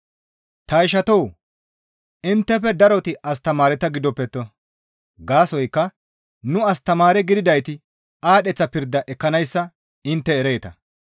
Ta ishatoo! Inttefe daroti astamaareta gidoppetto; gaasoykka nu astamaare gididayti aadheththa pirda ekkanayssa intte ereeta.